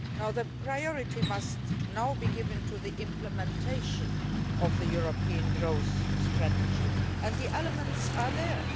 The priority must now be given to the implementation of the European growth strategy, and the elements are there.